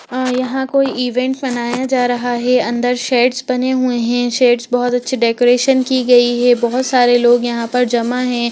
आ यहां कोई इवेंट मनाया जा रहा है अंदर सेट्स से बने हुए हैं सेट्स बहुत अच्छे डेकोरेशन की गई हैं बहुत सारे लोग यहां पर जमा हैं।